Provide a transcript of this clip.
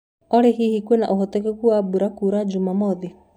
olly hĩhĩ kwinaũhotekekũ wa mbũra kũura jũmamothĩ